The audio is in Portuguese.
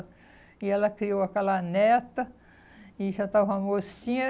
E ela criou aquela neta, e já estava mocinha.